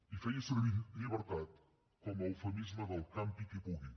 i feia servir llibertat com a eufemisme del campi qui pugui